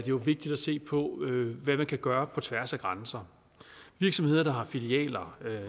jo vigtigt at se på hvad man kan gøre på tværs af grænser virksomheder der har etableret filialer